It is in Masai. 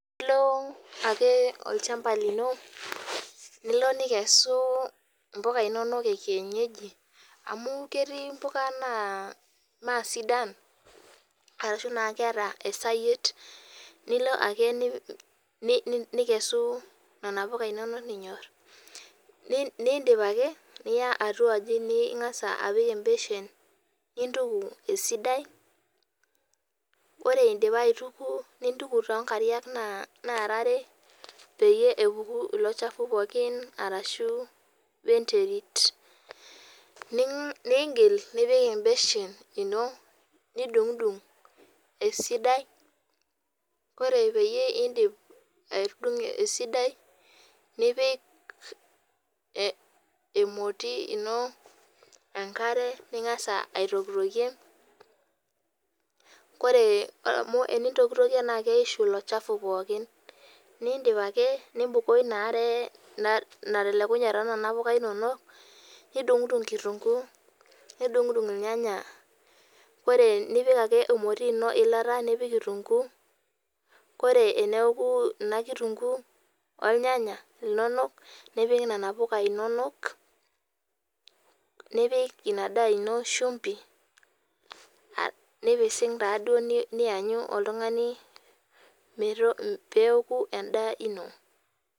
Elo ake olchamba lino nikesu [mbuka enono ee kienyeji amu ketii mbuka naa mee sidan ashu keeta esayiet nilo ake nikesu ena enono ning'or nidip ake Niya atuaji ningas apik ee beshen nintuku esidai ore edipa aitukuo nintuku too nkariak nara are pee epuku elo chafua pookin arashu wee nterit nigil nipik ebeshen eno nidugdug esidai ore pidip adug esidai nipik emoti enkare ningas aitokiyokie ore amu eninyokitokie naa keyishu elo chafua pookin nidip ake nibukoo ena are natelukua too Nona puka inono nidugudug kitunguu nidugudug ornyanya ore nipik ake emoti eno eilata nipik kitunguu ore eneeku ena kitunguu ornyanya nipik Nena puka inono nipik ena daa eno shumpi nipisig nianyuu peeku endaa eno